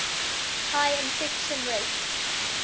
highest infection rate